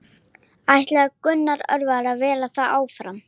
Sveinrún, manstu hvað verslunin hét sem við fórum í á laugardaginn?